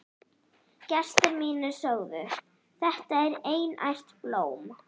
Gestir mínir sögðu: Þetta er einært blóm.